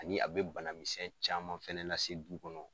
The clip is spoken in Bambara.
Ani a be banamisɛn caman fɛnɛ lase du kɔnɔ